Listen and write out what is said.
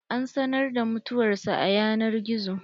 An sanar da mutuwar sa a yanar gizo.